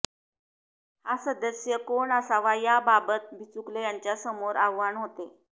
हा सदस्य कोण असावा याबाबत बिचुकले यांच्यासमोर आव्हाण होते